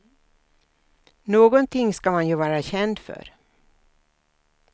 Någonting ska man ju vara känd för.